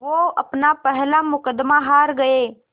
वो अपना पहला मुक़दमा हार गए